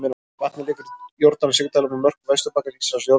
Vatnið liggur í Jórdan sigdalnum á mörkum Vesturbakkans, Ísraels og Jórdaníu.